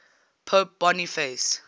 pope boniface